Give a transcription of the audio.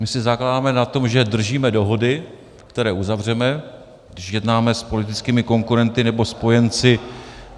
My si zakládáme na tom, že držíme dohody, které uzavřeme, když jednáme s politickými konkurenty nebo spojenci.